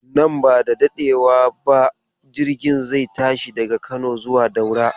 Nan bada dadewa ba jirgin zai tashi daga Kano zuwa Daura.